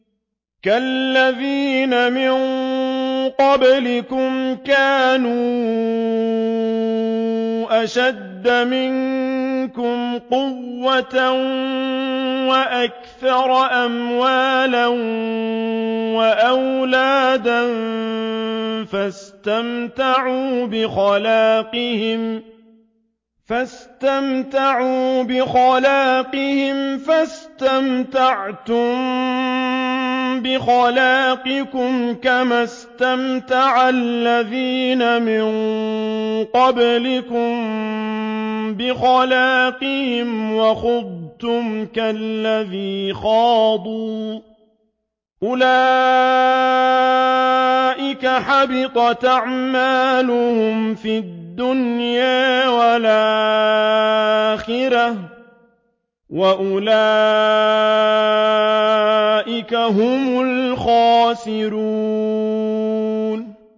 كَالَّذِينَ مِن قَبْلِكُمْ كَانُوا أَشَدَّ مِنكُمْ قُوَّةً وَأَكْثَرَ أَمْوَالًا وَأَوْلَادًا فَاسْتَمْتَعُوا بِخَلَاقِهِمْ فَاسْتَمْتَعْتُم بِخَلَاقِكُمْ كَمَا اسْتَمْتَعَ الَّذِينَ مِن قَبْلِكُم بِخَلَاقِهِمْ وَخُضْتُمْ كَالَّذِي خَاضُوا ۚ أُولَٰئِكَ حَبِطَتْ أَعْمَالُهُمْ فِي الدُّنْيَا وَالْآخِرَةِ ۖ وَأُولَٰئِكَ هُمُ الْخَاسِرُونَ